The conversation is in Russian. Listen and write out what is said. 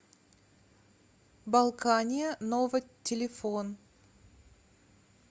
балкания нова телефон